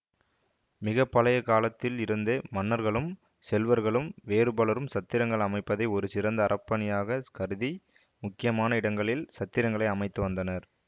மிக பழைய காலத்தில் இருந்தே மன்னர்களும் செல்வர்களும் வேறுபலரும் சத்திரங்கள் அமைப்பதை ஒரு சிறந்த அறப்பணியாகக் கருதி முக்கியமான இடங்களில் சத்திரங்களை அமைத்து வந்தனர்